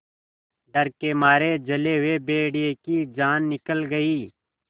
डर के मारे जले हुए भेड़िए की जान निकल गई